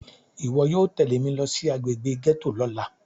Iwọ yóò tẹle mi lo si agbegbe gẹto lọla!